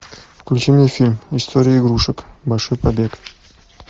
включи мне фильм история игрушек большой побег